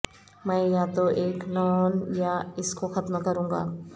میں یا تو ایک نون یا اس کو ختم کروں گا